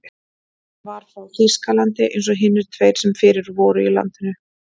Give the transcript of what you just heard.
Hann var frá Þýskalandi eins og hinir tveir sem fyrir voru í landinu.